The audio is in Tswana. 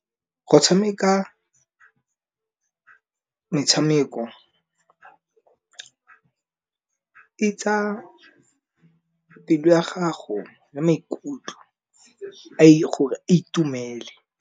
Go tshameka metshameko e tsa pelo ya gago ya maikutlo gore a itumele.